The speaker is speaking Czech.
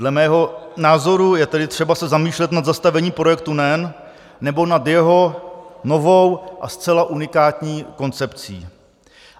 Dle mého názoru je tedy třeba se zamýšlet nad zastavením projektu NEN nebo nad jeho novou a zcela unikátní koncepcí.